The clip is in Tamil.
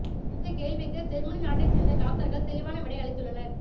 என்ற கேள்விக்கு ஜெர்மனி நாட்டை சேர்ந்த டாக்டர்கள் தெளிவான விடை அளித்துள்ளனர்